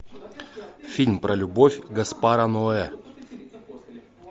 фильм про любовь гаспара ноэ